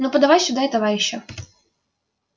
ну подавай сюда и товарища